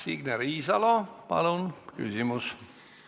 Signe Riisalo, palun küsimus!